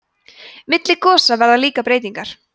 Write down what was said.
milli gosa verða líka breytingar